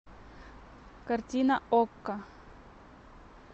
картина окко